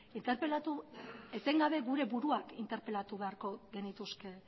etengabe gure buruak interpelatu beharko genituzke